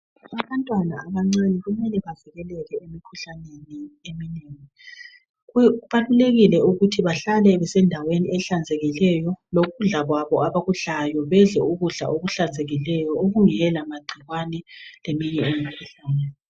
Abantwana abancane kumele bavikeleke emikhuhlaneni eminengi. Kubalulekile ukuthi bahlale besendaweni ehlanzekileyo lokudla kwabo abakudlayo bedle ukudla okuhlanzekileyo okungela magcikwane leminye imikhuhlane.